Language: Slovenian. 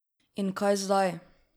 In kaj zdaj?